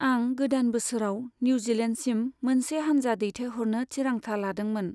आं गोदान बोसोराव निउजिलेन्डसिम मोनसे हानजा दैथायहरनो थिरांथा लादोंमोन।